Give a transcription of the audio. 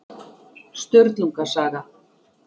Sturlunga saga.